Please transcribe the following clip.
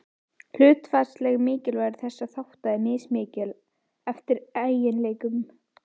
Hlutfallslegt mikilvægi þessara þátta er mismikið, eftir eiginleikum.